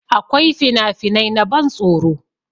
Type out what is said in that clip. Akwai finafinai na ban tsoro